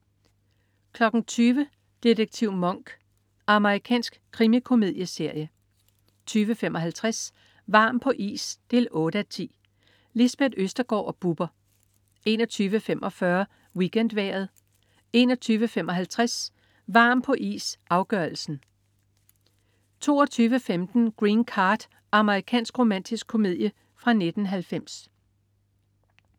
20.00 Detektiv Monk. Amerikansk krimikomedieserie 20.55 Varm på is 8:10. Lisbeth Østergaard og Bubber 21.45 WeekendVejret 21.55 Varm på is, afgørelsen 22.15 Green Card. Amerikansk romantisk komedie fra 1990